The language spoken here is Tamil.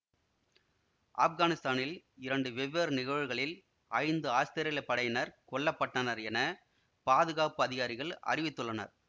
ஆப்கானிஸ்தானில் இரண்டு வெவ்வேறு நிகழ்வுகளில் ஐந்து ஆஸ்திரேலியப் படையினர் கொல்ல பட்டனர் என பாதுகாப்பு அதிகாரிகள் அறிவித்துள்ளனர்